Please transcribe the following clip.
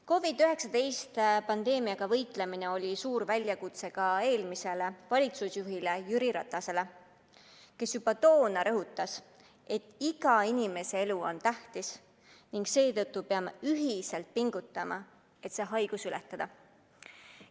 COVID-19 pandeemiaga võitlemine oli suur väljakutse ka eelmisele valitsusjuhile Jüri Ratasele, kes juba toona rõhutas, et iga inimese elu on tähtis ning seetõttu peame ühiselt pingutama, et see haigus ületada.